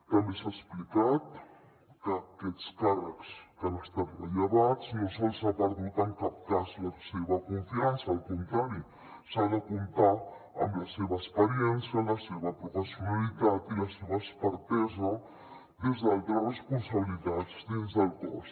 també s’ha explicat que a aquests càrrecs que han estat rellevats no se’ls ha perdut en cap cas la seva confiança al contrari s’ha de comptar amb la seva experiència la seva professionalitat i la seva expertesa des d’altres responsabilitats dins del cos